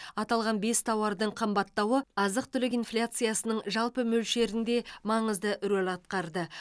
аталған бес тауардың қымбаттауы азық түлік инфляциясының жалпы мөлшерінде маңызды рөл атқарды